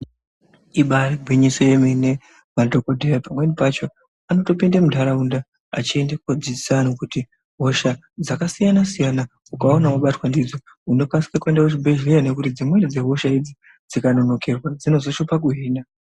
Ibari gwinyiso yemene vantu vekudhaya pamweni pacho vanotopinde muntaraunda vechienda kudzidzisa vantu kuti hosha dzakasiyana ukaona wabatwa ndidzo unokasika kuenda kuzvibhehlera nekuti dzimweni dzehosha idzi dzikanonokerwa dzinozonesa kuhinwa.